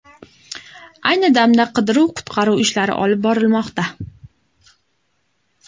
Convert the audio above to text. Ayni damda qidiruv-qutqaruv ishlari olib borilmoqda.